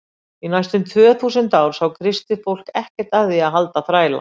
Í næstum tvö þúsund ár sá kristið fólk ekkert að því að halda þræla.